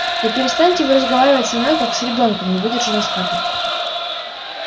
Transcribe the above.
да перестаньте вы разговаривать со мной как с ребёнком не выдержала скарлетт